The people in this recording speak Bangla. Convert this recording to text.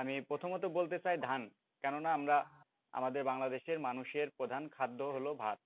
আমি প্রথমত বলতে চাই ধান, কেননা আমরা আমাদের বাংলাদেশের মানুষের প্রধান খাদ্য হল ভাত।